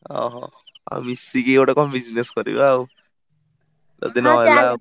ଅହ! ଆଉ ମିଶିକି ଗୋଟେ କଣ job କରିବା ଆଉ, ଯଦି ନ ହେଲା।